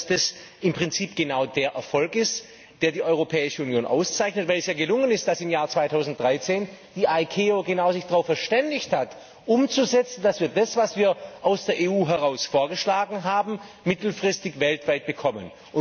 Das ist im Prinzip genau der Erfolg, der die Europäische Union auszeichnet, weil es ja gelungen ist, dass im Jahr 2013 die ICAO sich genau darauf verständigt hat, umzusetzen, dass wir das, was wir aus der EU heraus vorgeschlagen haben, mittelfristig weltweit bekommen.